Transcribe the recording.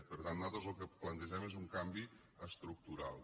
per tant nosaltres el que plantegem és un canvi estructural